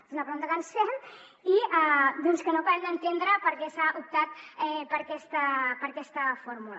és una pregunta que ens fem i doncs que no acabem d’entendre per què s’ha optat per aquesta fórmula